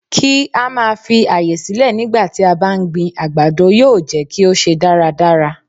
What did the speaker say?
Kí á máa fi àyè sílẹ̀ nígbà tí a bá ń gbin àgbàdo yóò jẹ́ kí ó ṣe dáradára.